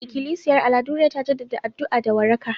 Ikilisiyar Aladure ta jaddada addu'a da waraka